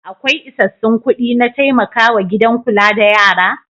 Akwai isassun kuɗi na taimakawa gidan kula da yara?